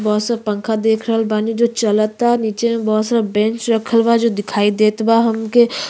बहतु स पंखा देख रहल बानी जो चलता निचे में बहुत सारा बैंच रखल बा जो दिखाई देत बा हमके।